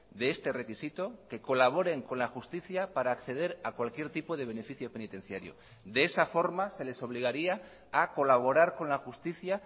de este requisito que colaboren con la justicia para acceder a cualquier tipo de beneficio penitenciario de esa forma se les obligaría a colaborar con la justicia